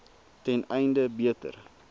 ten einde beter